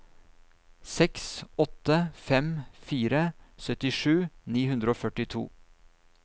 seks åtte fem fire syttisju ni hundre og førtito